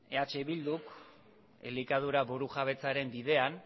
eh bilduk elikadura burujabetzaren bidean